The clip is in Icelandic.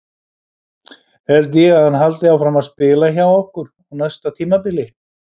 Held ég að hann haldi áfram að spila hjá okkur á næsta tímabili?